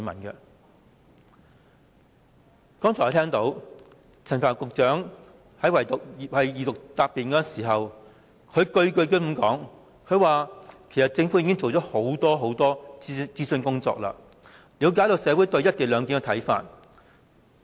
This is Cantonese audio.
我剛才聽到陳帆局長在二讀答辯時，不斷說其實政府已做了很多諮詢的工作，已了解社會對"一地兩檢"的看法。